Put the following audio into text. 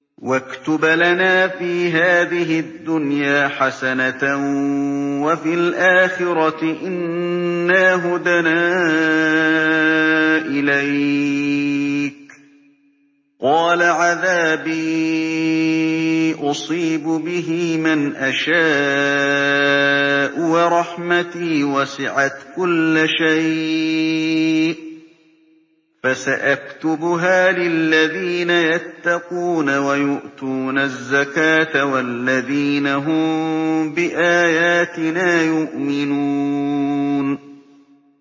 ۞ وَاكْتُبْ لَنَا فِي هَٰذِهِ الدُّنْيَا حَسَنَةً وَفِي الْآخِرَةِ إِنَّا هُدْنَا إِلَيْكَ ۚ قَالَ عَذَابِي أُصِيبُ بِهِ مَنْ أَشَاءُ ۖ وَرَحْمَتِي وَسِعَتْ كُلَّ شَيْءٍ ۚ فَسَأَكْتُبُهَا لِلَّذِينَ يَتَّقُونَ وَيُؤْتُونَ الزَّكَاةَ وَالَّذِينَ هُم بِآيَاتِنَا يُؤْمِنُونَ